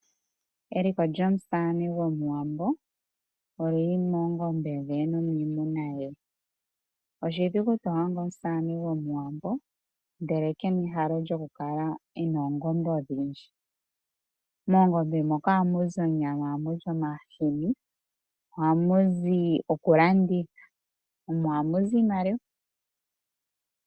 Eliko lyomusamane gwomuwambo olyili moongombe dhe nomiimuna ye. Oshidhigu to adha omusamane gwomuwambo ndele kena ehalo lyokukala e na oongombe odhindji. Moongombe moka ohamu zi onyama, ohamu zi omahini, ohamu zi okulanditha mo ohamu zi iimaliwa.